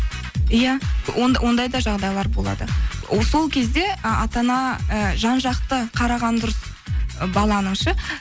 иә ондай да жағдайлар болады сол кезде ы ата ана ы жан жақты қараған дұрыс баланы ше